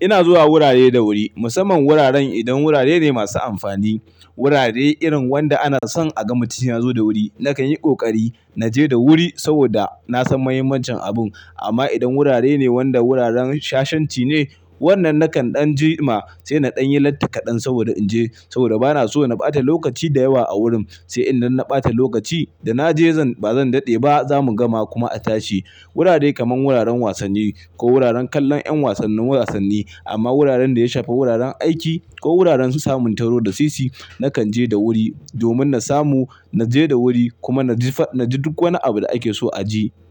Ina zuwa wurare da wuri, musamman wuraren idan wurare ne masu amfani. Wurare irin wanda ana son a ga mutun ya zo da wuri. Nakan yi ƙoƙari na je da wuri saboda na san mahimmancin abun. Amma idan wurare ne wanda wuraren shashanci ne, wannan nakan ɗan ji ma sai na ɗan yi latti kaɗan saboda in je saboda bana so na ɓata lokaci da yawa a wurin. Sai idan na ɓata lokaci da na je zan, ba zan daɗe ba za mu gama kuma a tashi. Wurare kamar wuraren wasanni ko wuraren kallon ƴan wasannin wasanni. Amma wuraren da ya shafi wuraren aiki ko wuraren su samun taro da sisi, na kan je da wuri domin na samu, na je da wuri kuma na ji, na ji duk wani abu da ake so a ji.